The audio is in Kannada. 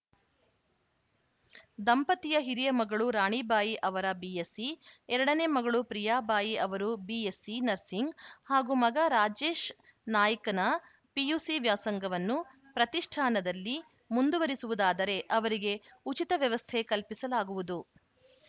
ದಂಪತಿಯ ಹಿರಿಯ ಮಗಳು ರಾಣಿಬಾಯಿ ಅವರ ಬಿಎಸ್‌ಸಿ ಎರಡನೇ ಮಗಳು ಪ್ರಿಯಾಬಾಯಿ ಅವರು ಬಿಎಸ್‌ಸಿ ನರ್ಸಿಂಗ್‌ ಹಾಗೂ ಮಗ ರಾಜೇಶ್‌ ನಾಯ್‌್ಕನ ಪಿಯುಸಿ ವ್ಯಾಸಂಗವನ್ನು ಪ್ರತಿಷ್ಠಾನದಲ್ಲಿ ಮುಂದುವರಿಸುವುದಾದರೆ ಅವರಿಗೆ ಉಚಿತ ವ್ಯವಸ್ಥೆ ಕಲ್ಪಿಸಲಾಗುವುದು